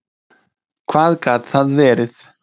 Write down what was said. Hvað gat það verið?